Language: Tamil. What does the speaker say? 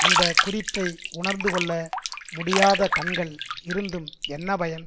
அந்த குறிப்பை உணர்ந்து கொள்ள முடியாத கண்கள் இருந்தும் என்ன பயன்